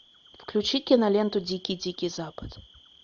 включи киноленту дикий дикий запад